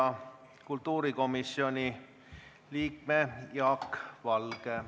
Järgmisena palun siia kultuurikomisjoni liikme Jaak Valge.